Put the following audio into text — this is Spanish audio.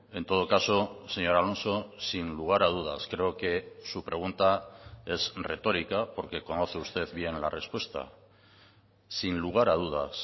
en todo caso señor alonso sin lugar a dudas creo que su pregunta es retorica porque conoce usted bien la respuesta sin lugar a dudas